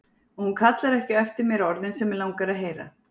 Og hún kallar ekki á eftir mér orðin sem mig langar að heyra.